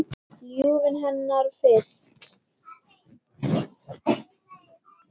Ljúfuna hennar fyrst.